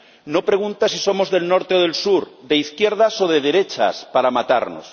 No pregunta si somos del norte o del sur, de izquierdas o de derechas, para matarnos.